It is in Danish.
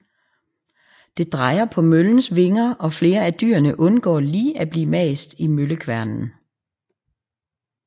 Det drejer på møllens vinger og flere af dyrene undgår lige at blive mast i møllekværnen